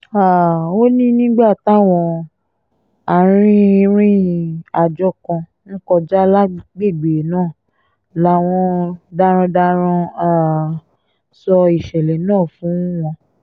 um ó ní nígbà táwọn arìnrìn-àjò kan ń kọjá lágbègbè náà làwọn darandaran um sọ ìṣẹ̀lẹ̀ náà fún wọn